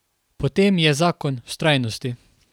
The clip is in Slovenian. Potem je zakon vztrajnosti.